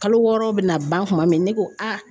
Kalo wɔɔrɔ bɛna ban kuma min ne ko